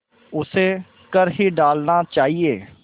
उसे कर ही डालना चाहिए